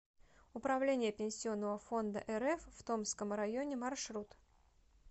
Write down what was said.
управление пенсионного фонда рф в томском районе маршрут